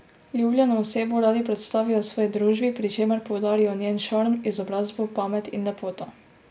Ljubljeno osebo radi predstavijo svoji družbi, pri čemer poudarjajo njen šarm, izobrazbo, pamet in lepoto.